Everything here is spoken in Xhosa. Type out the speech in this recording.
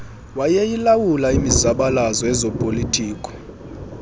wayeyilawula imizabalazo yezopolitiko